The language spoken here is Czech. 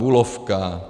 Bulovka.